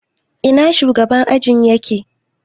Ina shugaban ajin yake?